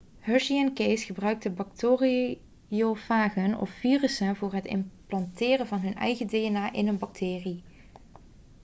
hershey en chase gebruikten bacteriofagen of virussen voor het implanteren van hun eigen dna in een bacterie